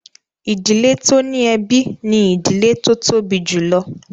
Ìdílé tó ní ẹbí ni ìdílé tó tóbi jùlọ